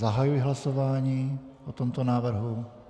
Zahajuji hlasování o tomto návrhu.